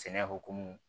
Sɛnɛ hokumu